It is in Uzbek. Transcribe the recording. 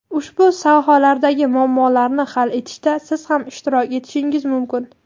Ushbu sohalardagi muammolarni hal etishda siz ham ishtirok etishingiz mumkin!.